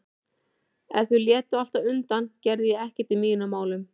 Ef þau létu alltaf undan gerði ég ekkert í mínum málum.